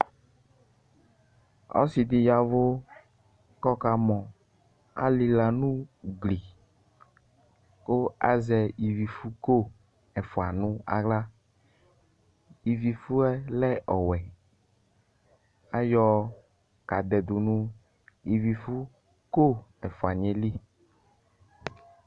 Ɔsɩdɩ yavu ku ɔkamɔ kʊ alila nʊ ugli kʊ azɛ ivifʊko efua nʊ axla Ivifuɛlɛ ɔwɔɛ kʊ ayɔ kadɛdʊ nʊ ivifuko ɛfʊaniɛyɛ lɩ